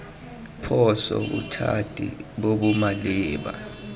phoso bothati bo bo maleba